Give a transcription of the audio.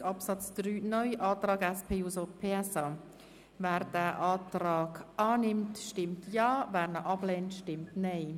Wer den Antrag SP-JUSO-PSA annimmt, stimmt Ja, wer diesen ablehnt, stimmt Nein.